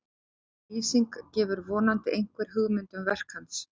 sú lýsing gefur vonandi einhverja hugmynd um verk hans